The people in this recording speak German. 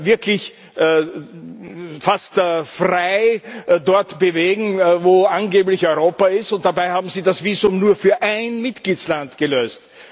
wirklich fast frei dort bewegen, wo angeblich Europa ist, und dabei haben sie das Visum nur für ein Mitgliedsland gelöst.